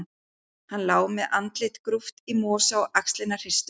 Hann lá með andlitið grúft í mosa og axlirnar hristust.